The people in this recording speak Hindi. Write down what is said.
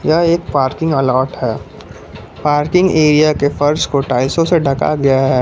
यह एक पार्किंग अलॉट है पार्किंग एरिया के फर्श को टाइल्सो से ढका गया है।